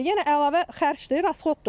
Yenə əlavə xərcdir, rasxoddur.